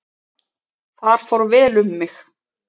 Þar fór vel um mig.